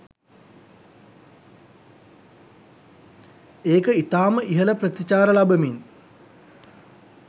ඒක ඉතාම ඉහළ ප්‍රතිචාර ලබමින්